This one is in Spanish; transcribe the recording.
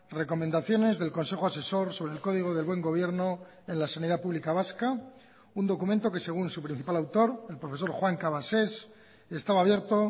recomendaciones del consejo asesor sobre el código del buen gobierno en la sanidad pública vasca un documento que según su principal autor el profesor juan cabasés estaba abierto